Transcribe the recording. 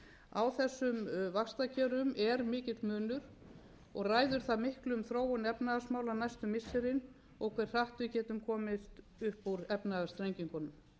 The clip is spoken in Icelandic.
á þessum vaxtakjörum er mikill munur og ræður það miklu um þróun efnahagsmála næstu missirin og hve hratt við getum komist upp úr efnahagsþrengingunum